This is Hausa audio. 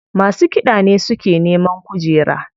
Masu kiɗa ne suke neman kujera.